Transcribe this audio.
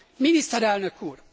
miniszterelnök úr,